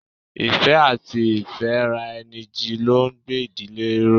Ìfẹ́ àti ifaraeniji ló ń gbé ìdílé ró.